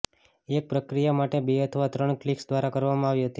એક પ્રક્રિયા માટે બે અથવા ત્રણ ક્લિક્સ દ્વારા કરવામાં આવી હતી